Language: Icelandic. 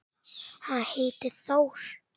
Hann heitir Þór.